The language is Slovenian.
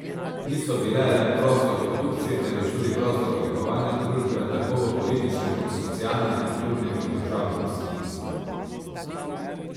Niso bile le prostor produkcije, temveč tudi prostor oblikovanja družbe tako v političnem kot socialnem, kulturnem in družabnem smislu.